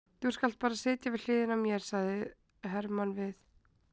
Þú skalt bara sitja við hliðina á mér, sagði Hermann við